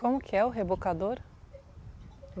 Como que é o rebocador?